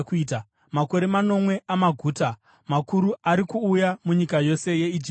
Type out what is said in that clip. Makore manomwe amaguta makuru ari kuuya munyika yose yeIjipiti,